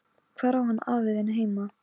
Hvar á hann afi þinn heima?